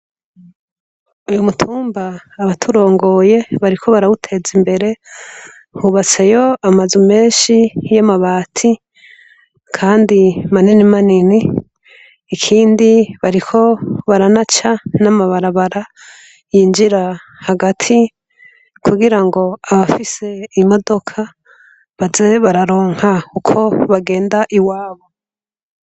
Kumutumba abaturongoye bariko barawuteza imbere hubatseyo amazu menshi yamabati kandi manini manini ikindi bariko baranaca amabarabara yinjira hagati kugirango abafise imodoka baze bararonka uko bagenda iwabo